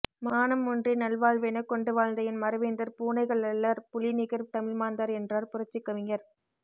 மானம் ஒன்றே நல்வாழ்வெனக் கொண்டு வாழ்ந்த என் மறவேந்தர் பூனைகள் அல்லர் புலி நிகர் தமிழ்மாந்தர் என்றார் புரட்சிக் கவிஞர்